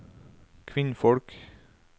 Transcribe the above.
kvinnfolk